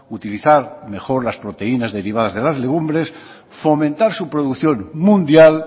utilizar mejor las proteínas derivadas de las legumbres fomentar su producción mundial